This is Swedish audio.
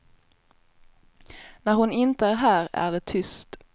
När hon inte är här är det tyst.